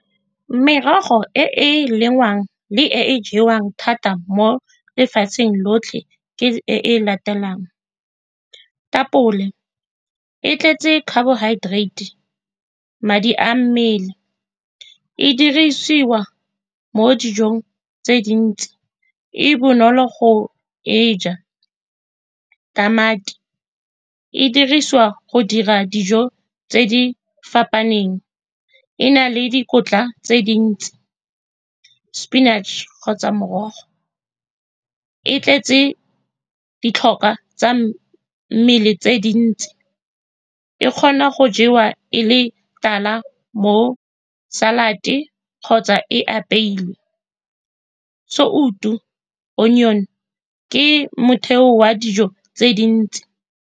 Merogo e e lengwang le e e jewang thata mo lefatsheng lotlhe ke e e latelang, tapole e tletse carbohydrates, madi a mmele, e dirisiwa mo dijong tse dintsi, e bonolo go e ja, tamati e dirisiwa go dira dijo tse di fapaneng, e na le dikotla tse dintsi, spinach-e kgotsa morogo e tletse ditlhokwa tsa mmele tse dintsi, e kgona go jewa e le tala mo salad-te kgotsa e apeilwe, sout-u, onion-e ke motheo wa dijo tse dintsi.